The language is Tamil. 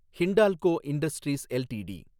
Hindalco Industries LTD